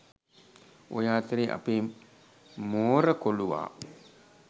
ඔය අතරේ අපේ මෝර කොලුවා